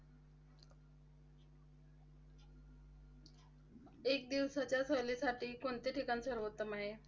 एक दिवसाच्या सहलीसाठी कोणते ठिकाण सर्वोत्तम आहे?